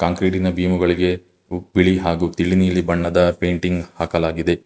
ಆ ಬೀಮುಗಳಿಗೆ ತಿಳಿ ನೀಲಿ ಬಣ್ಣದ ಪೇಂಟಿಂಗ್ ಹಾಕಲಾಗಿದೆ.